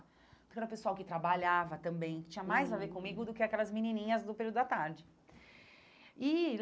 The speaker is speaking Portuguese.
Porque era o pessoal que trabalhava também, que tinha mais a ver comigo do que aquelas menininhas do período da tarde e.